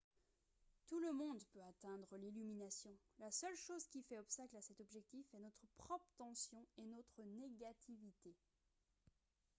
tout le monde peut atteindre l'illumination la seule chose qui fait obstacle à cet objectif est notre propre tension et notre négativité